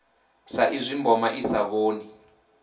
saizwi mboma i sa vhoni